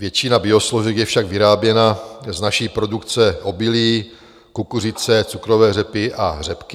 Většina biosložek je však vyráběna z naší produkce obilí, kukuřice, cukrové řepy a řepky.